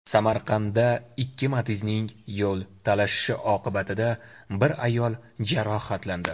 Samarqandda ikki Matiz’ning yo‘l talashishi oqibatida bir ayol jarohatlandi.